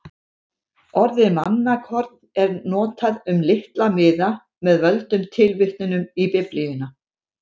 Orðið mannakorn er notað um litla miða með völdum tilvitnunum í Biblíuna.